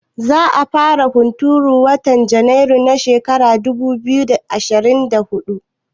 Za a fara hunturu a watan Janairu na shekara ta dubu biyu da ashirin da huɗu?